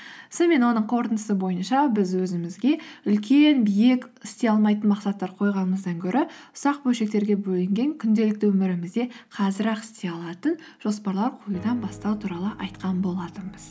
сонымен оның қорытындысы бойынша біз өзімізге үлкен биік істей алмайтын мақсаттар қойғанымыздан гөрі ұсақ бөлшектерге бөлінген күнделікті өмірімізде қазір ақ істей алатын жоспарлар қоюдан бастау туралы айтқан болатынбыз